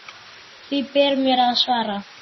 Því ber mér að svara.